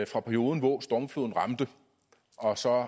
fra perioden hvor stormfloden ramte og så